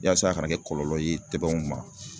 Yaasa a kana kɛ kɔlɔlɔ ye tɛbɛnw ma